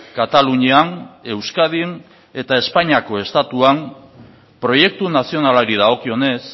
katalunian euskadin eta espainiako estatuan proiektu nazionalari dagokionez